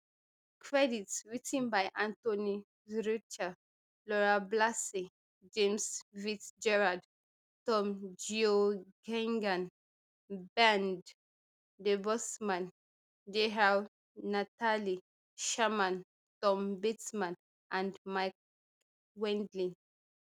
credits writ ten by anthony zurcher laura blasey james fitzgerald tom geoghegan bernd debusmann natalie sherman tom bateman and mike wendling